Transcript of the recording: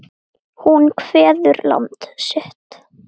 Hún kveður land sitt.